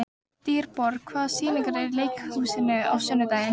Dýrborg, hvaða sýningar eru í leikhúsinu á sunnudaginn?